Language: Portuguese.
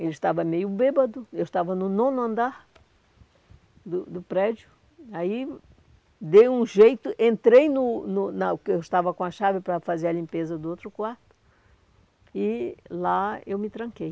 Ele estava meio bêbado, eu estava no nono andar do do prédio, aí dei um jeito, entrei no no na... que eu estava com a chave para fazer a limpeza do outro quarto e lá eu me tranquei.